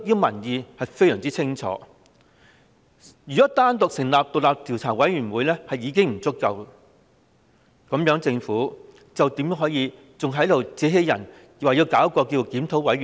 民意非常清晰，單單成立獨立調查委員會已不足夠，政府為何還能自欺欺人，提出成立檢討委員會？